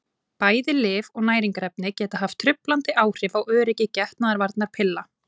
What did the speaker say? bæði lyf og næringarefni geta haft truflandi áhrif á öryggi getnaðarvarnarpilla